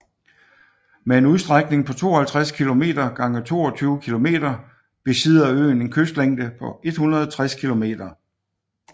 Med en udstrækning på 52 km gange 22 km besidder øen en kystlængde på 160 km